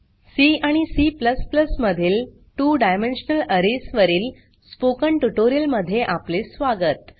C आणि C मधील 2डायमेन्शनल अरेज वरील स्पोकन ट्यूटोरियल मध्ये आपले स्वागत